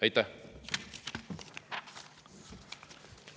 Aitäh!